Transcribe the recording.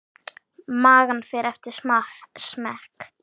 Magn fer eftir smekk.